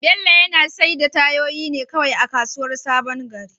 Bello yana saida tayoyin ne kawai a kasuwar sabon gari.